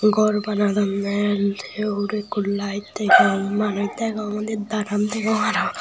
gor banadonde sei ugurey ekko light degong manuj degong undi daram degong arow.